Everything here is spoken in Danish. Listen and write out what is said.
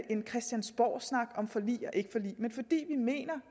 en christiansborgsnak om forlig og ikke forlig men fordi vi mener